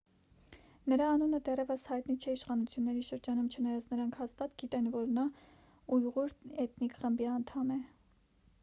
նրա անունը դեռևս հայտնի չէ իշխանությունների շրջանում չնայած նրանք հաստատ գիտեն որ նա ույղուր էթնիկ խմբի անդամ է